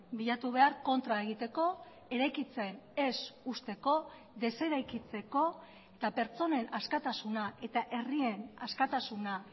bilatu behar kontra egiteko eraikitzen ez uzteko deseraikitzeko eta pertsonen askatasuna eta herrien askatasuna